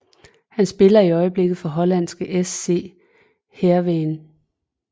Han spiller i øjeblikket for hollandske SC Heerenveen